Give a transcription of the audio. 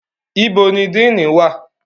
Ibo ni dean wà?